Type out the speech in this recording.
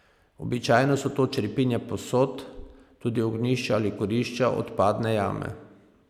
Običajno so to črepinje posod, tudi ognjišča ali kurišča, odpadne jame.